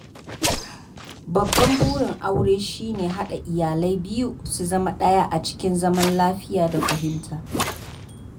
Babban burin aure shi ne haɗa iyalai biyu su zama ɗaya a cikin zaman lafiya da fahimta.